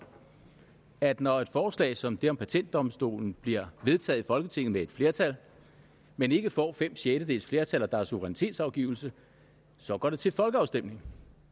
at når et forslag som det her om patentdomstolen bliver vedtaget i folketinget med et flertal men ikke får fem sjettedeles flertal og der er suverænitetsafgivelse så går det til folkeafstemning